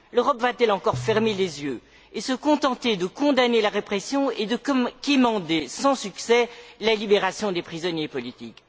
L'Europe va t elle encore fermer les yeux et se contenter de condamner la répression et de quémander sans succès la libération des prisonniers politiques?